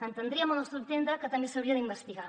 entendríem al nostre entendre que també s’hauria d’investigar